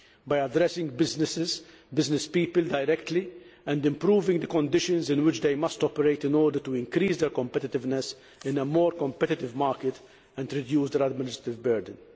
and by addressing businesspeople directly and improving the conditions in which they must operate in order to increase their competitiveness in a more competitive market and reduce their administrative burden.